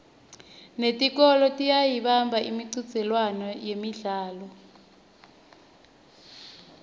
netikolwa tiyayibamba imicudzelwano yemidlalo